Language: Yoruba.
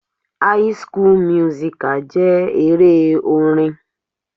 High school musical jẹ́ eré orin.